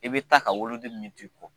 I be taa ka woloden min to i kɔ